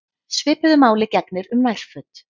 Svipuðu máli gegnir um nærföt.